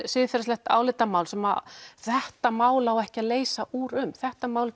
siðferðislegt álitamál sem þetta mál á ekki að leysa úr um þetta mál